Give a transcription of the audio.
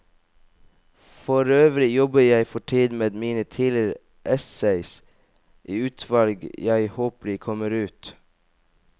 Forøvrig jobber jeg for tiden med mine tidligere essays, i utvalg, jeg håper de kommer ut.